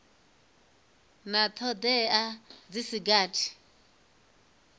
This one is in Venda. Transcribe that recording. na thodea dzi si gathi